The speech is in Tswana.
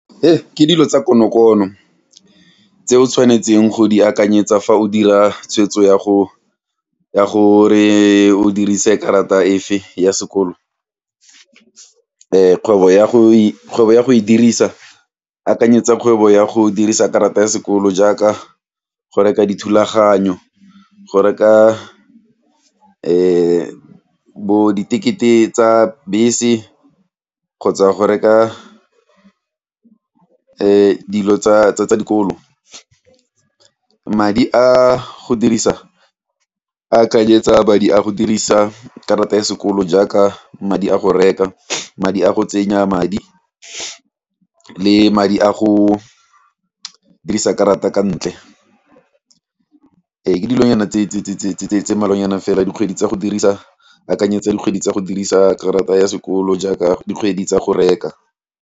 Ke dilo tsa konokono tse o tshwanetseng go di akanyetsa fa o dira tshweetso ya go, ya gore o dirise karata efa ya sekolo, kgwebo ya go kgwebo ya go e dirisa akanyetsa kgwebo ya go dirisa karata ya sekolo jaaka go reka dithulaganyo, go reka bo ditekete tsa bese kgotsa go reka dilo tsa tsa dikolo. Madi a go dirisa akanyetsa madi a go dirisa karata ya sekolo jaaka madi a go reka, madi a go tsenya madi le madi a go dirisa karata ka ntle, ee ke dilo nyana tse mmalwa nyana fela dikgwedi tsa go dirisa akanyetsa dikgwedi tsa go dirisa karata ya sekolo jaaka dikgwedi tsa go reka.